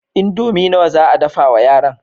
Indomi nawa za a dafa wa yaran?